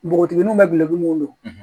Npogotigininw bɛ gulɔ mun don